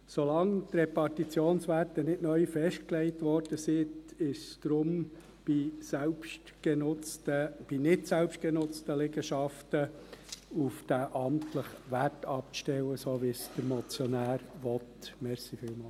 Solange die Repartitionswerte nicht neu festgelegt wurden, ist deshalb bei nicht selbstgenutzten Liegenschaften auf den amtlichen Wert abzustellen, so wie dies der Motionär will.